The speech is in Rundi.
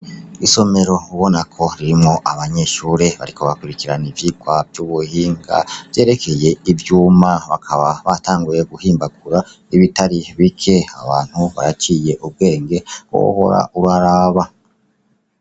Isomero ubonako ririmwo abanyeshure bariko bakurikirana ivyigwa vyubuhinga vyerekeye ivyuma bakaba batanguye guhimbagura ibitari bike abantu baraciye ubwenge wohora uraraba.